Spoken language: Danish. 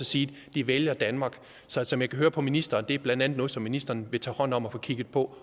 sige at de vælger danmark så som jeg kan høre på ministeren er det blandt andet noget som ministeren vil tage hånd om og få kigget på